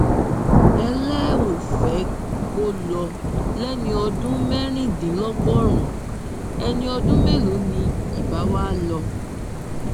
ẹ lẹ ò fẹ kó lọ lẹni ọdún mẹrìndínlọgọrùnún ẹni ọdún mélòó ni ibà wàá lọ